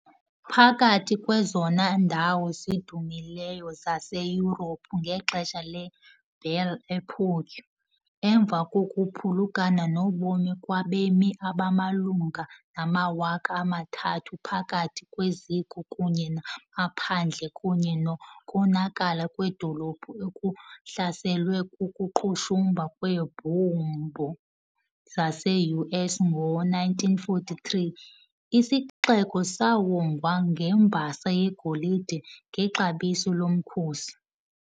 Phakathi kwezona ndawo zidumileyo zaseYurophu ngexesha le- "Belle Époque", emva kokuphulukana nobomi kwabemi abamalunga namawaka amathathu phakathi kweziko kunye namaphandle kunye nokonakala kwedolophu okuhlaselwe kukuqhushumba kweebhombu zase-US ngo - 1943, isixeko sawongwa ngembasa yegolide ngexabiso lomkhosi.